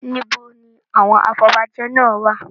Níbo ni àwọn afobajẹ náà wà?